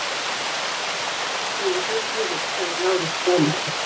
Ég var búinn að reyna nokkrum sinnum að hringja í þig, sagði Lárus hraðmæltur.